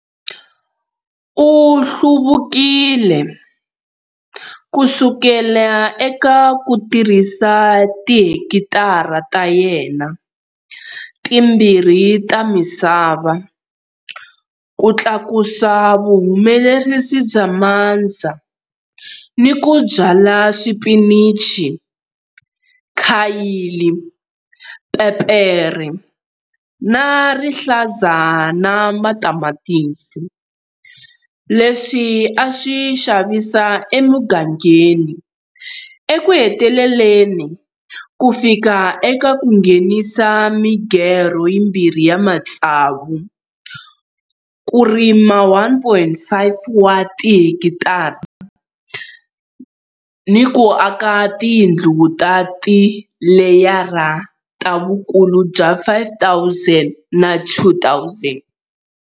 U hluvukile kusukela eka ku tirhisa tihekitara ta yena timbirhi ta misava ku tlakusa vuhumelerisi bya mandza ni ku byala swipinichi, khayili, pepere ra rihlaza na matamatisi, leswi a swi xavisa emugangeni, ekuheteleleni ku fika eka ku nghenisa migerho yimbirhi ya matsavu, ku rima 1.5 wa tihekitara ni ku aka tindlu ta tileyara ta vukulu bya 5 000 na 2 000.